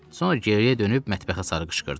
Sonra geriyə dönüb mətbəxə sarı qışqırdı.